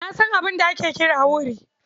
Na san abin da ake kira wuri.